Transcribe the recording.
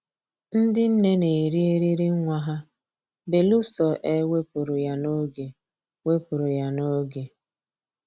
Ndị nne na-eri eriri nwa ha belụsọ e wepụrụ ya n'oge wepụrụ ya n'oge